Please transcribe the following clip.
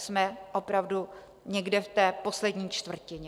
Jsme opravdu někde v té poslední čtvrtině.